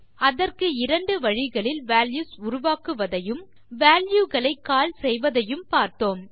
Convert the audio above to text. அதற்கு இரண்டு வழிகளில் வால்யூஸ் உருவாக்குவதையும் வால்யூ களை கால் செய்வதையும் பார்த்தோம்